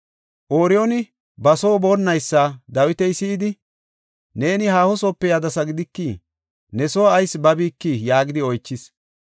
Ooriyooni ba soo boonnaysa Dawiti si7idi, “Neeni haahosoope yadasa gidikii? Ne soo ayis babikii?” yaagidi oychis.